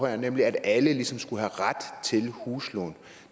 her nemlig at alle ligesom skal have ret til et huslån